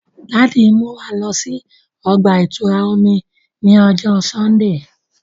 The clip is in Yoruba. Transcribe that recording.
Daddy n mú wà lọ sí ọgba-itura omí ni ọjọ Sundee